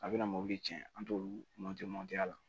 A bɛna mobili cɛn an t'olu a la